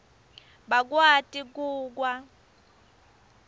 bakwati ku kwa